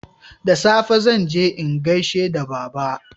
da safe zanje in gaishe da baba